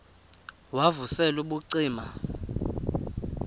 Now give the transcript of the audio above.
wav usel ubucima